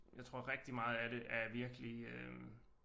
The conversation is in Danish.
Jeg tror rigtig meget af det er virkelig øh